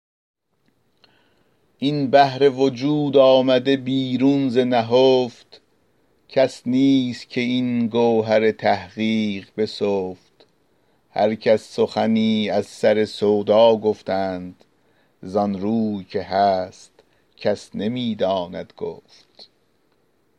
این بحر وجود آمده بیرون ز نهفت کس نیست که این گوهر تحقیق بسفت هر کس سخنی از سر سودا گفتند ز آن روی که هست کس نمی داند گفت